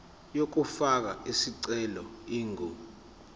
yokufaka isicelo ingu